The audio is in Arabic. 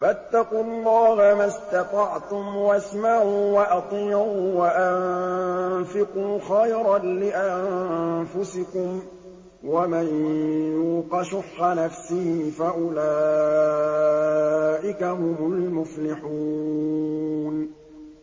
فَاتَّقُوا اللَّهَ مَا اسْتَطَعْتُمْ وَاسْمَعُوا وَأَطِيعُوا وَأَنفِقُوا خَيْرًا لِّأَنفُسِكُمْ ۗ وَمَن يُوقَ شُحَّ نَفْسِهِ فَأُولَٰئِكَ هُمُ الْمُفْلِحُونَ